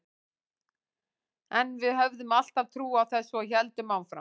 En við höfðum alltaf trú á þessu og héldum áfram.